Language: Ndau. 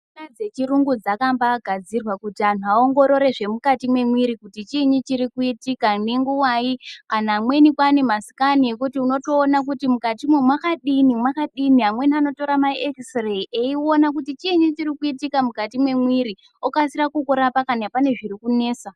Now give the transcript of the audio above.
Michina dzechirungu dzakambagadzirwa kuti antu aongororwe zvemukati mwemwiri kuti chiini chirikuitika nenguvai, antu amweni kwane masikani ekuti unotoona kuti mukatimwo mwakadini mwakadini amweni anotora maekisireyi eiona kuti chiinyi chirikuitika mukati mwemwiri okasira kukurapa kana pane zviri kunesa.